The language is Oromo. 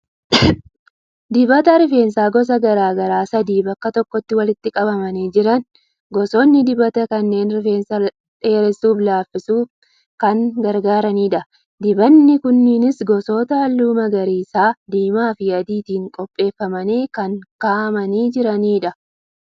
Dibata rifeensaa gosa garaa garaa sadii bakka tokkotti walitti qabamanii jiran. Gosoonni dibata kanneenii rifeensa dheeressuu fi laaffisuuf kan gargaaranidha. Dibanni kunneenis gosoota halluu magariisaa, diimaa fi adiitiin qopheeffamanii kan kaa'amanii jiranidha.